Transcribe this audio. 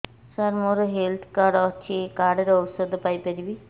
ସାର ମୋର health card ଅଛି ଏହି କାର୍ଡ ରେ ଔଷଧ ପାଇପାରିବି